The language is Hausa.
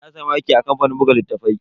Na samu aiki a kamfanin buga littatafai.